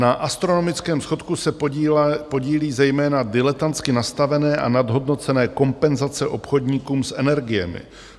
Na astronomickém schodku se podílí zejména diletantsky nastavené a nadhodnocené kompenzace obchodníkům s energiemi.